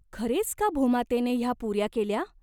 खरेच का भूमातेने ह्या पुऱ्या केल्या ?